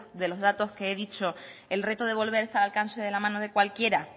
de los datos que he dicho el reto de volver está al alcance de la mano de cualquiera